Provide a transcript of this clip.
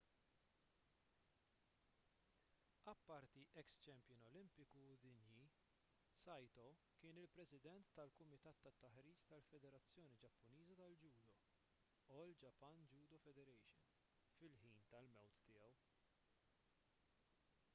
apparti eks-champion olimpiku u dinji saito kien il-president tal-kumitat tat-taħriġ tal-federazzjoni ġappuniża tal-ġudo all japan judo federation fil-ħin tal-mewt tiegħu